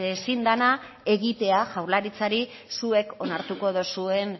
ezin dena egitea jaurlaritzari zuek onartuko duzuen